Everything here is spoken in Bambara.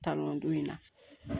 Talon don in na